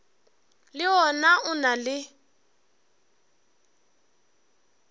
le wona o na le